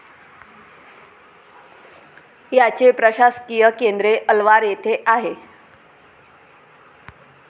याचे प्रशासकीय केंद्रे अलवार येथे आहे.